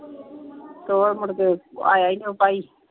ਤੇ ਉਹ ਮੁੜਕੇ ਆਇਆ ਹੀ ਨੀ ਉਹ ਭਾਈ।